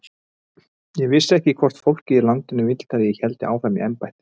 Ég vissi ekki hvort fólkið í landinu vildi að ég héldi áfram í embætti.